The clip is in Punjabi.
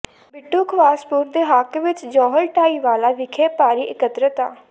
ਬਿੱਟੂ ਖਵਾਸਪੁਰ ਦੇ ਹੱਕ ਵਿਚ ਜੌਹਲ ਢਾਏ ਵਾਲਾ ਵਿਖੇ ਭਾਰੀ ਇਕੱਤਰਤਾ